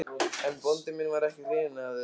En bóndi minn var ekki hrifinn af þessu.